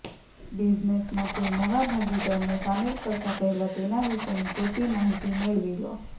બિઝનેસમાં કોઈ નવા ભાગીદારને સામેલ કરતાં પહેલા તેના વિશેની પૂરતી માહિતી મેળવી લો